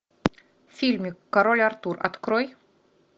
фильм король артур открой